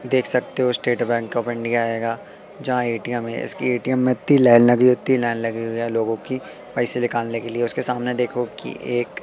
देख सकते हो स्टेट बैंक ऑफ़ इंडिया हेगा जहां ए_टी_एम है। इसकी ए_टी_एम में इत्ती लाइन लगी इत्ती लाइन लगी हुई है लोगों की पैसे निकालने के लिए उसके सामने देखो की एक--